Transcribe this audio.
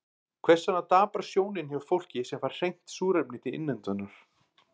Hvers vegna daprast sjónin hjá fólki sem fær hreint súrefni til innöndunar?